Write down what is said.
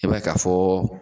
I b'a ye ka fɔ